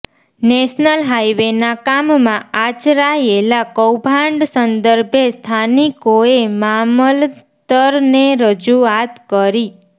national હાઇવેના કામમાં આચરાયેલા કૌભાંડ સંદર્ભે સ્થાનિકોએ મામલતરને રજૂઆત કરી